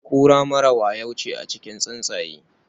Kura mara wayo ce a cikin tatsuniya.